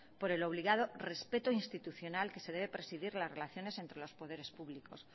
por el obligado respeto institucional que se debe presidir las relaciones entre los poderes públicos